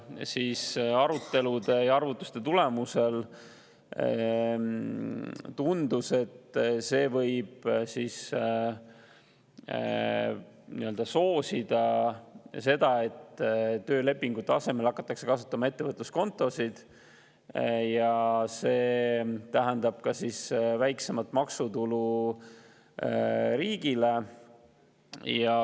Kuid arutelude ja arvutuste tulemusel tundus, et see võib soosida seda, et töölepingute asemel hakatakse kasutama ettevõtluskontosid, mis tähendab väiksemat maksutulu riigile.